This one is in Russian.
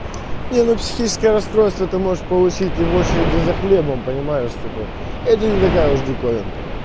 не ну психическое расстройство ты можешь получить и в очереди за хлебом понимаешь типа это не такая уж диковинка